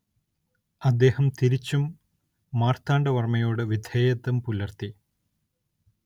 അദ്ദേഹം തിരിച്ചും മാർത്താണ്ഡ വർമ്മയോട് വിധേയത്വം പുലർത്തി.